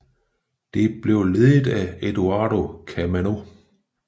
Det bliver ledet af Eduardo Camaño